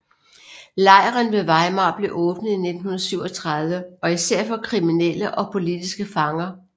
Lejren ved Weimar blev åbnet i 1937 især for kriminelle og politiske fanger